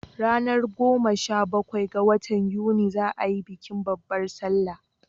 Ranar goma sha bakwai ga watan yuni za a yi bikin babbar salla